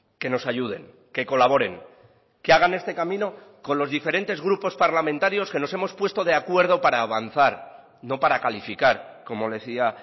que nos ayuden que colaboren que hagan este camino con los diferentes grupos parlamentarios que nos hemos puesto de acuerdo para avanzar no para calificar como le decía